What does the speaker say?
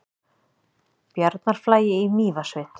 Bjarnarflagi í Mývatnssveit.